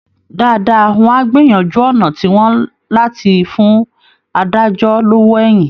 Dáadáa wọ́n á gbìyànjú ọ̀nà tiwọn láti fún adájọ́ lówó èyìn